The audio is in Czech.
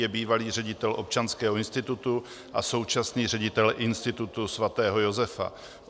Je bývalý ředitel Občanského institutu a současný ředitel Institutu sv. Josefa.